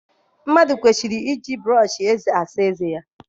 Mmadụ kwesịrị iji brọsh eze na-asa ezé ya.